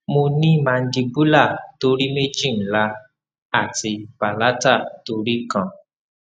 mo ni mandibular tori meji nla ati palatal tori kan